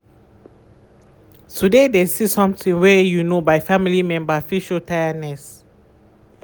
to de de see something wey you no by family member fit show tireness.